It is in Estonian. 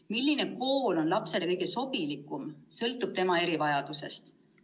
Milline kool on lapsele kõige sobilikum, sõltub tema erivajadusest.